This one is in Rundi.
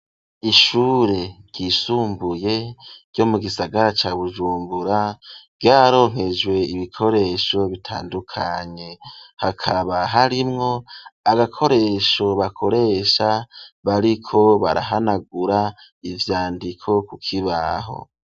Ishure ryisumbuye ryo mu gisagara ca Bujumbura ryaronkejwe ibikoresho bitandukanye hakaba harimwo agakoresho bakoresha bariko barahanagura ivyandiko ku kibaho.